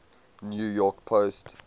new york post